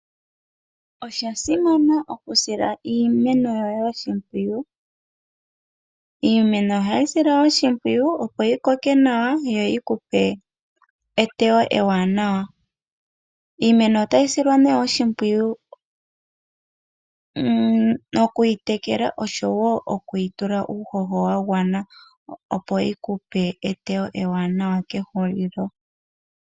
Osha simana okusila iimeno oshimeno yoye oshimpwiyu. Iimeno ohayi silwa oshimpwiyu opo yi koke nawa yo yi kupe eteyo ewanawa . Iimeno otayi silwa nee oshimpwiyu noku yi tekela oshowo okuyi tula uuhoho wa gwana opo yi kupe eteyo ewanawa kehulilo.